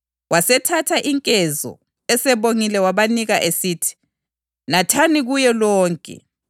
Bathi besadla uJesu wathatha isinkwa wabonga, wasihlephula wasipha abafundi bakhe esithi, “Thathani lidle; lokhu kungumzimba wami.”